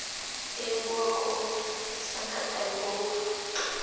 hee bowa koo sankatane bowa